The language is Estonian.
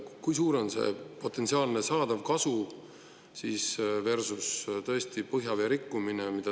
Kui suur on see potentsiaalne saadav kasu versus, tõesti, põhjavee rikkumine?